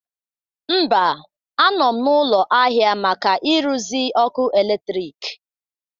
Mba, a nọ m n'ụlọ ahịa maka ịrụzi ọkụ eletrik